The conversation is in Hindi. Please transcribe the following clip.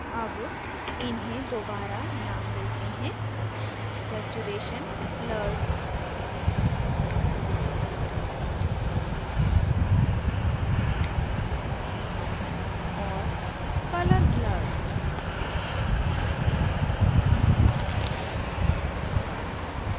अब इन्हें दोबारा नाम देते हैं saturation blurred और colour blurred